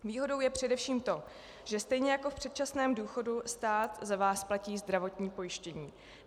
Výhodou je především to, že stejně jako v předčasném důchodu stát za vás platí zdravotní pojištění.